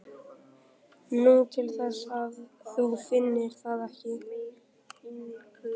Nú, til þess að þú finnir það ekki.